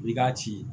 I k'a ci